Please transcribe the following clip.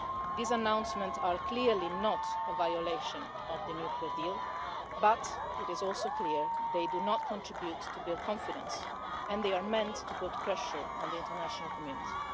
These announcements are clearly not a violation of the nuclear deal, but it is also clear they do not contribute to build confidence and they are meant to put pressure on the international community.